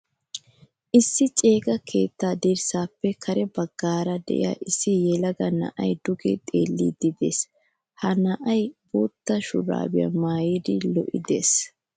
Issi ceega keetta dirssappe kare baggaara de'iyaa issi yelaga na'aay duge xeellidi de'ees. Ha na'ay boottaa shurabiyaa maayidi lo'i de'ees.